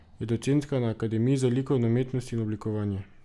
Je docentka na Akademiji za likovno umetnost in oblikovanje.